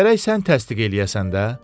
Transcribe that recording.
Gərək sən təsdiq eləyəsən də.